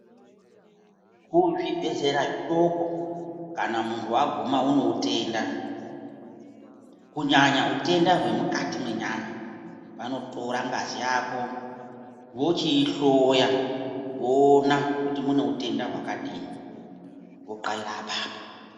Kuzvibhedhlera zvidoko kana munhu wagumwa neutenda kunyanya hutenda hwemukati menyama vanotora ngazi yako vochiihloya voona kuti mune hutenda hwakadini .